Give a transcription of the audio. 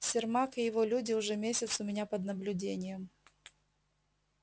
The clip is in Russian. сермак и его люди уже месяц у меня под наблюдением